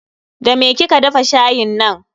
Da me kika dafa shayin nan?